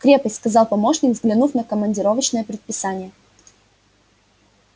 в крепость сказал помощник взглянув на командировочное предписание